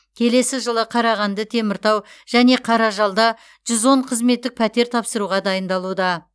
келесі жылы қарағанды теміртау және қаражалда жүз он қызметтік пәтер тапсыруға дайындалуда